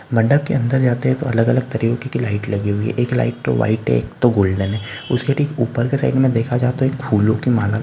मंडप के अंदर यह देखो अलग-अलग तरीके की लाइट लगी हुई है एक लाइट व्हाइट है तो एक लाइट गोल्डन है उसके ठीक ऊपर की साइड में देखा जाता है तो एक फूलों की माला--